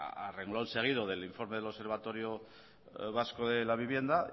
a reglón seguido del informe del observatorio vasco de la vivienda